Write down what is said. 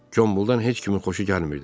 Qombuldan heç kimin xoşu gəlmirdi.